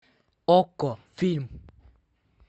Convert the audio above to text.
окко фильм